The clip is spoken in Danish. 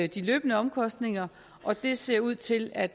de løbende omkostninger og det ser ud til at